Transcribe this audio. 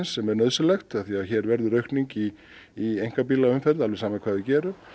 sem er nauðsynlegt því hér verður aukning í í alveg sama hvað við gerum